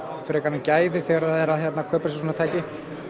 frekar en gæði þegar það er að kaupa sér svona tæki